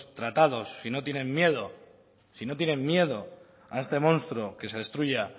tratados si no tienen miedo si no tienen miedo a este monstruo que se destruya